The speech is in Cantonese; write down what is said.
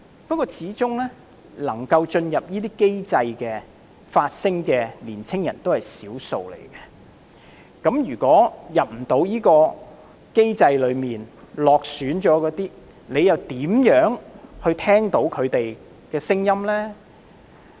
不過，始終能夠進入這些機制發聲的年青人只是少數，對於未能進入機制或落選的人，你又如何聆聽他們的聲音呢？